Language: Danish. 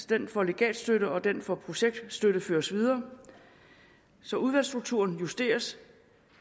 den for legatstøtte og den for projektstøtte føres videre så udvalgsstrukturen justeres